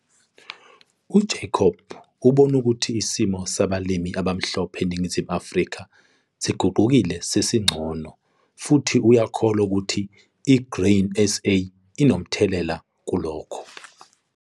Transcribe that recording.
UJacob ubona ukuthi isimo sabalimi abamhlophe eNingizimu Afrika siguqukile sesingcono futhi uyakholwa ukuthi i-Grain SA inomthelela kulokho.